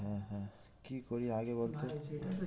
হ্যাঁ হ্যাঁ কি করি আগে বলতো? ভাই